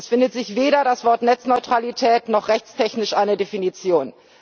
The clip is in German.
Es findet sich weder das Wort Netzneutralität noch rechtstechnisch eine Definition.